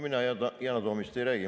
Mina Yana Toomist ei räägi.